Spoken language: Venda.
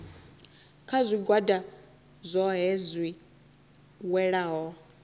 kha zwigwada zwohe zwi welaho